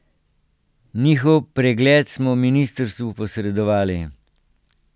Njihov pregled smo ministrstvu posredovali.